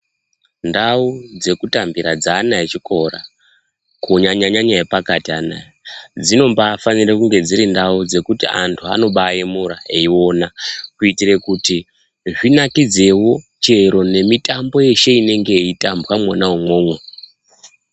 Ndau dzekutambira dzeana echikora kunyanyanyanya epakati anawa dzinofanira kunge dziri ndau yekuti antu anobayemura eiona kuitira kuti zvinakidzewo nemitambo yeshe inenge yeitambwa Mona imomo.